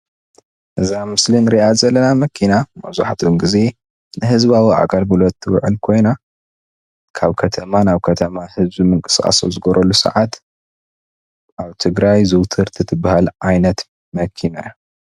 እዛ ኣብ ምስሊ እንሪኣ ዘለና መኪና መብዛሕትኡ ግዜ ናይ ህዝባዊ ኣገልግሎት እትውዕል ኮይና ካብ ከተማ ናብ ከተማ ህዝቢ ምንቅስቃስ ኣብ ዝገብረሉ ሰዓት ኣብ ትግራይ ዝውትርቲ ትበሃል ዓይነት መኪና እያ፡፡